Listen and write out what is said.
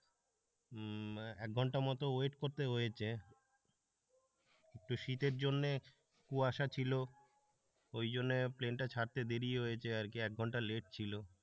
এক ঘন্টা মত ওয়েট করতে হয়েছে একটু শীতের জন্যে কুয়াশা ছিল ওই জন্য প্লেনটা ছাড়তে দেরি হয়েছে আর কি এক ঘন্টা লেট ছিল।